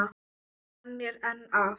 Og hann er enn að.